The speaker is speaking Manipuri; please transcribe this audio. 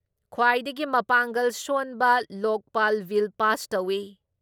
ꯈ꯭ꯋꯥꯏꯗꯒꯤ ꯃꯄꯥꯡꯒꯜ ꯁꯣꯟꯕ ꯂꯣꯛꯄꯥꯜ ꯕꯤꯜ ꯄꯥꯁ ꯇꯧꯏ ꯫